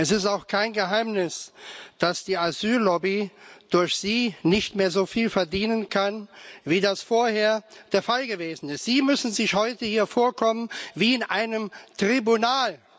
Es ist auch kein Geheimnis, dass die Asyl Lobby durch Sie nicht mehr so viel verdienen kann, wie das vorher der Fall gewesen ist. Sie müssen sich heute hier vorkommen wie in einem Tribunal.